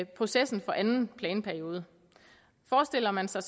processen for anden planperiode forestiller man sig